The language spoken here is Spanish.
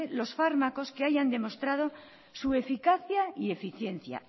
los fármacos que hayan demostrado su eficacia y eficiencia